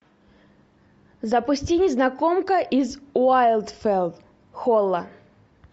запусти незнакомка из уайлдфелл холла